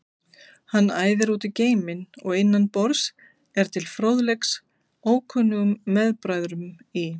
Hann æðir út í geiminn og innan borðs er til fróðleiks ókunnum meðbræðrum í